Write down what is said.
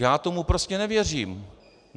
Já tomu prostě nevěřím.